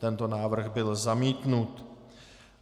Tento návrh byl zamítnut.